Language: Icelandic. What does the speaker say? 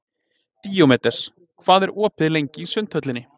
Díómedes, hvað er opið lengi í Sundhöllinni?